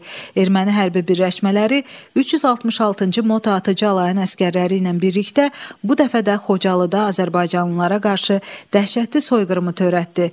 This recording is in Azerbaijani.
Erməni hərbi birləşmələri 366-cı motatıcı alayının əsgərləri ilə birlikdə bu dəfə də Xocalıda azərbaycanlılara qarşı dəhşətli soyqırımı törətdi.